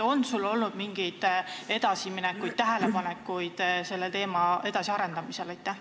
On sul mingeid edasiminekuid või tähelepanekuid selle teema edasiarendamisel?